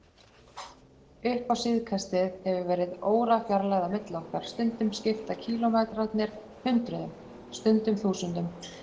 Upp á síðkastið hefur verið órafjarlægð á milli okkar, stundum skipta kílómetrarnir hundruðum, stundum þúsundum.